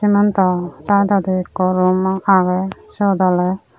cemento daat age goromoh agey sut ole.